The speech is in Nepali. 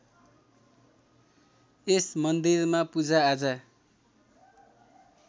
यस मन्दिरमा पूजाआजा